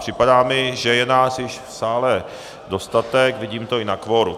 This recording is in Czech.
Připadá mi, že je nás již v sále dostatek, vidím to i na kvoru.